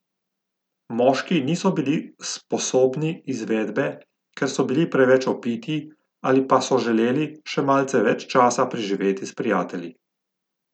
Moški niso bili sposobni izvedbe, ker so bili preveč opiti ali pa so želeli še malce več časa preživeti s prijatelji.